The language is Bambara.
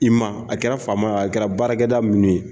I ma a kɛra faama ye a kɛra baarakɛda minnu ye